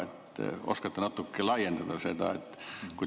Kas te oskate natuke seda laiendada?